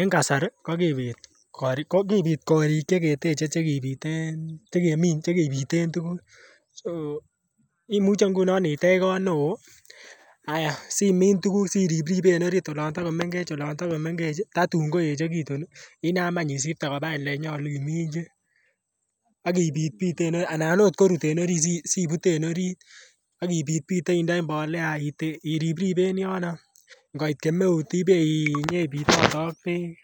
En kasari ko kibit korik ko kibit korik che keteche che kibiten che keminen tuguk so imuche ngunon itej koot be oo ayai simin tuguk ak iribribee en orit olon Togo menget tatun ko echegitun inam any isipte kobaa elee nyoluu imuji ak ipitpite en orit anan not korut en orit si bute en orit ak ipitpite indoi mbolea iripripe en yono ngoit kemeut ibee inyon ipitote ak beek